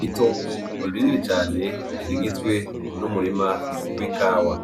Itongu rini cane rigizwe n'umurima w'i kawa